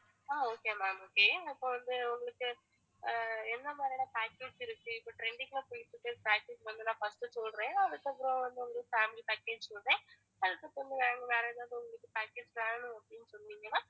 ஆஹ் okay ma'am okay இப்ப வந்து உங்களுக்கு ஆஹ் எந்த மாதிரியான package இருக்கு இப்ப trending ஆ போயிட்டுருகிற package வந்து நான் first சொல்றேன் அதுக்கப்புறம் வந்து உங்களுக்கு family package சொல்றேன் அதுக்கப்புறம் வேற ஏதாவது உங்களுக்கு package வேணும் அப்படின்னு சொன்னீங்கனா